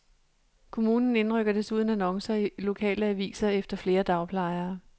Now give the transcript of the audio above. Kommunen indrykker desuden annoncer i lokale aviser efter flere dagplejere.